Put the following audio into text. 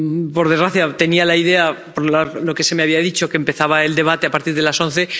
Por desgracia, tenía la idea —es lo que se me había dicho— de que empezaba el debate a partir de las once.